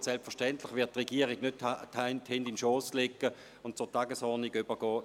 Selbstverständlich wird die Regierung nicht die Hände in den Schoss legen und zur Tagesordnung übergehen.